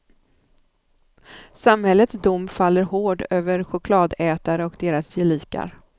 Samhällets dom faller hård över chokladätare och deras gelikar.